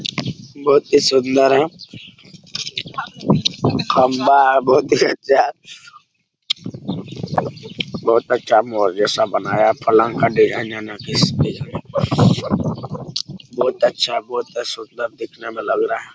बहुत ही सूंदर है खम्बा है बहुत ही अच्छा बहुत अच्छा मॉल जैसा बनाया पलंग का डिजाइन है बहुत अच्छा बहुत सुंदर देखने मे लग रहा है।